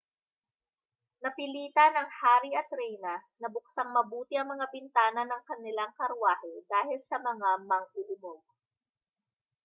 napilitan ang hari at reyna na buksang mabuti ang mga bintana ng kanilang karwahe dahil sa mga mang-uumog